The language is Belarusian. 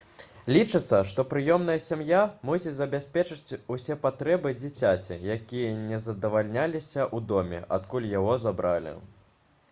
лічыцца што прыёмная сям'я мусіць забяспечыць усе патрэбы дзіцяці якія не задавальняліся ў доме адкуль яго забралі